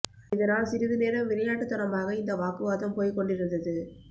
இதனால் சிறிது நேரம் விளையாட்டு தனமாக இந்த வாக்குவாதம் போய்க்கொண்டு இருந்தது